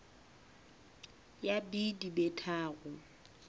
ya b di be tharo